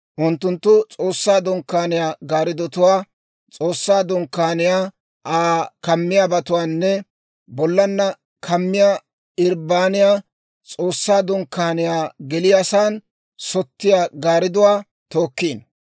unttunttu S'oossaa Dunkkaaniyaa gaariddotuwaa, S'oossaa Dunkkaaniyaa, Aa kammiyaabatuwaanne bollana kammiyaa irbbaniyaa, S'oossaa Dunkkaaniyaa geliyaasan sottiyaa gaaridduwaa tookkino;